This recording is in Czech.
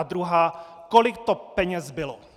A druhá: Kolik to peněz bylo?